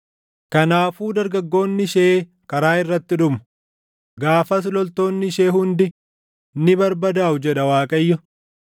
Kanaafuu dargaggoonni ishee karaa irratti dhumu; gaafas loltoonni ishee hundi ni barbadaaʼu” jedha Waaqayyo.